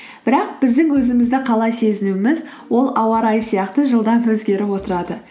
бірақ біздің өзімізді қалай сезінуіміз ол ауа райы сияқты жылдам өзгеріп отырады